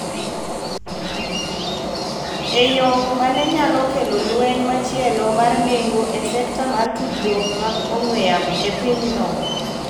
e yo ma ne nyalo kelo lweny machielo mar nengo e sekta mar tudruok mag ong'we yamo e pinyno.